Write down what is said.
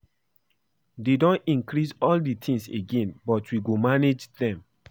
They don increase all dis things again but we go manage dem